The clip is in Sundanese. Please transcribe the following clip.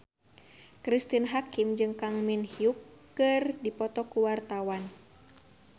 Cristine Hakim jeung Kang Min Hyuk keur dipoto ku wartawan